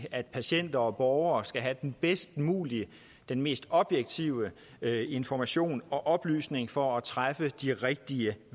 at patienter og borgere skal have den bedst mulige den mest objektive information og oplysning for at kunne træffe de rigtige